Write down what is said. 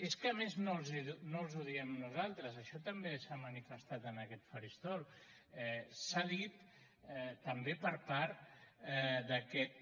és que a més no els ho diem nosaltres això també s’ha manifestat en aquest faristol s’ha dit també per part d’aquest